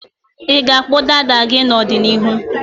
Ị ga-akpụ dada gị n'ọdịniihu?